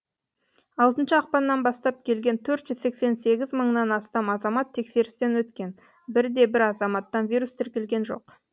алтыншы ақпаннан бастап келген төрт жүз сексен сегіз мыңнан астам азамат тексерістен өткен бір де бір азаматтан вирус тіркелген жоқ